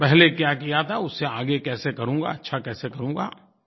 पहले क्या किया था उससे आगे कैसे करूँगा अच्छा कैसे करूँगा